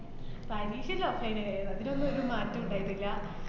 പരീക്ഷ എല്ലാം offline ആയേന്. അതിനൊന്നും ഒരു മാറ്റോം ഇണ്ടായിട്ടില്ല.